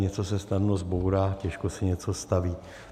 Něco se snadno zbourá, těžko se něco staví.